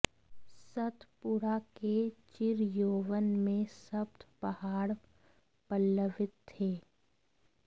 सतपुड़ा के चिरयौवन में सप्त पहाड़ पल्लवित थे